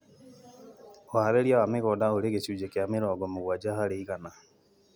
Ũharĩria wa mĩgũnda ũrĩ gĩcunjĩ kĩa mĩrongo mũgwanja harĩ igana